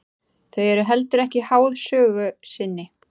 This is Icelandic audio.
Þau eru heldur ekki háð sögu sinni.